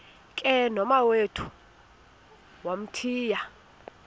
ke nomawethu wamthiya